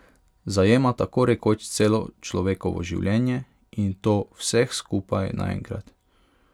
Zajema tako rekoč celo človekovo življenje in to vseh skupaj naenkrat.